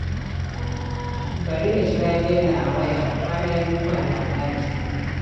Bari na kira Bello a waya, kwana biyu ba labari